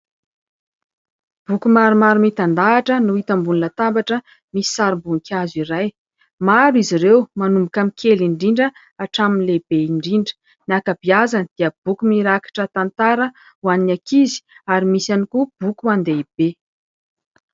Boky maromaro mitan-dahatra no hita ambonina latabatra misy sary voninkazo iray. Maro izy ireo manomboka amin'ny kely indrindra hatramin'ny lehibe indrindra. Ny akabiazany dia boky mirakitra tantara ho an'ny akizy ary misy ihany koa boky ho an'ny lehibe.